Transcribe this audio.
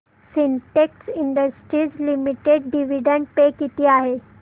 Sintex industries limited dividend pay किती आहे